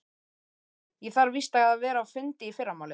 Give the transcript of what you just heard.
Jú, ég þarf víst að vera á fundi í fyrramálið.